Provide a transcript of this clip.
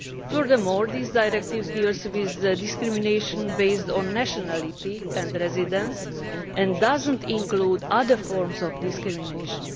Furthermore, this directive deals with discrimination based on nationality and residence and does not include other forms of discrimination.